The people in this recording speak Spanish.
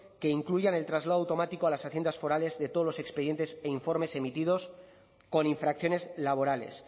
que incluyan el traslado automático a las haciendas forales de todos los expedientes e informes emitidos con infracciones laborales